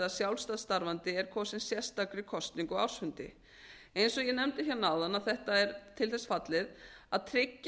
sjálfstætt starfandi er kosinn sérstakri kosningu á ársfundi eins og ég nefndi hérna áðan er þetta til þess fallið að tryggja